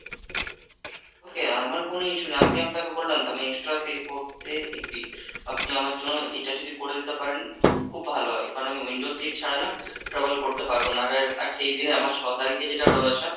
Okay, আমার কোনো issue নেই আমি আপনাকে বললাম তো আমি extra pay করতে agree, আপনি আমার জন্য এটা যদি করে দিতে পারেন খুব ভালো হয় কারণ আমি window seat ছাড়া না travel করতে পারবো না, আর~ আর সেই দিনে আমার ছ তারিখে যেটা রয়েছে ।